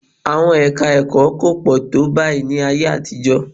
Àwọn ẹka-ẹ̀kọ́ kò pọ̀ tó báyìí ní ayé àtijọ́